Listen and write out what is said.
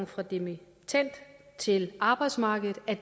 fra dimittend til arbejdsmarkedet er